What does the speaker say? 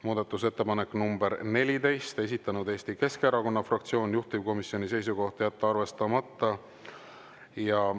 Muudatusettepanek nr 14, esitanud Eesti Keskerakonna fraktsioon, juhtivkomisjoni seisukoht on jätta arvestamata.